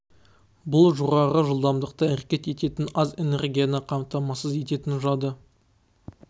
бұл жоғары жылдамдықты әрекет ететін аз энергияны қамтамасыз ететін жады